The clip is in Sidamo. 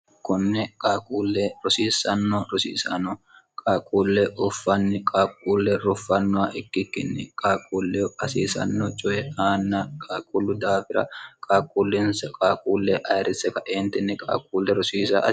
kunne qaaquulle rosiissanno rosiisano qaaquullee uffanni qaaquulle roffannowa ikkikkinni qaaquulleu hasiisanno coye aanna qaaquullu daafira qaaquullinsa qaakuullee ayirrisse kaeentinni qaaquulle rosiisa